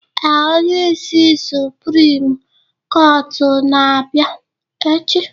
Ee, onyeisi suprim kọtụ ga-abịa echi